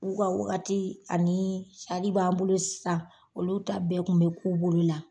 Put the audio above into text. U ka wagati anii sari b'an bolo sisan olu ta bɛɛ tun bɛ k'u bolo la.